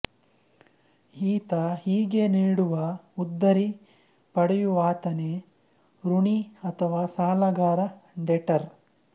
ಈತ ಹೀಗೆ ನೀಡುವ ಉದ್ದರಿ ಪಡೆಯುವಾತನೇ ಋಣಿ ಅಥವಾ ಸಾಲಗಾರ ಡೆಟರ್